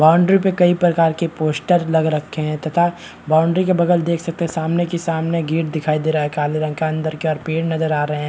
Boundary पर कई प्रकार के पोस्टर लग रखे हैं तथा बाउंड्री के बगल देख सकते हैं सामने की सामने गेट दिखाई दे रहा है काले रंग का अंदर की ओर पेड़ नजर आ रहे हैं।